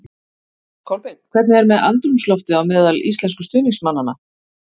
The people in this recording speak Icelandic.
Kolbeinn, hvernig er andrúmsloftið á meðal íslensku stuðningsmannanna?